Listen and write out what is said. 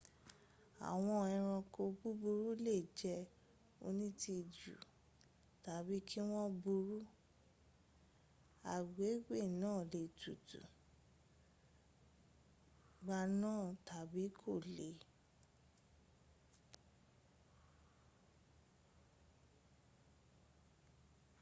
àwọn eranko búburú lè jẹ́ onítìjú tàbí kí wọ́n burú agbègbè náà lè tutù gbaná tàbí kò le